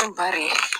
An bari